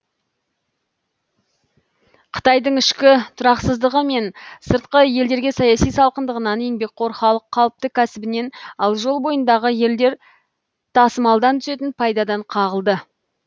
қытайдың ішкі тұрақсыздығы мен сыртқы елдерге саяси салқындығынан еңбекқор халық қалыпты кәсібінен ал жол бойындағы елдер тасымалдан түсетін пайдадан қағылды